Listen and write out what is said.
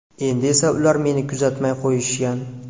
Endi esa ular meni kuzatmay qo‘yishgan”.